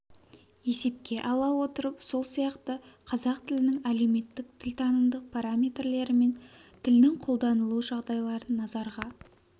есепке ала отырып сол сияқты қазақ тілінің әлеуметтік тілтанымдық параметрлері мен тілдің қолданылу жағдайларын назарға